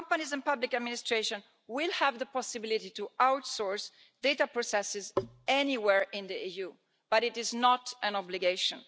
Companies and public administration will have the possibility to outsource data processes anywhere in the EU, but it is not an obligation.